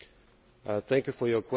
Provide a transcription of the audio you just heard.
Thank you for your question.